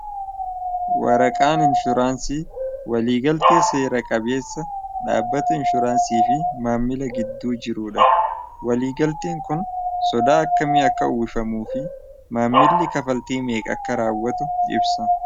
waraqaan inshuraansii waliigaltee seera- qabeessa dhaabbatu inshuraansii fi maammila gidduu jiruudha waliigaltiin kun sodaa akka mi akka uwwifamuu fi maammilli kafaltiimeeq akka raawwatu ibsa